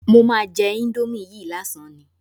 Mo máa jẹ íńdómì yìí lásán ni.